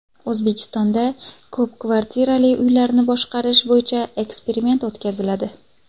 O‘zbekistonda ko‘p kvartirali uylarni boshqarish bo‘yicha eksperiment o‘tkaziladi.